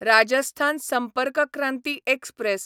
Rajasthan Sampark Kranti express